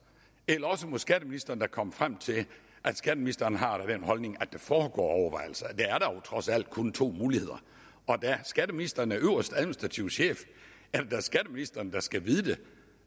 eller også må skatteministeren da komme frem til at skatteministeren har den holdning at der foregår overvejelser der er dog trods alt kun to muligheder og da skatteministeren er øverste administrative chef er det da skatteministeren der skal vide det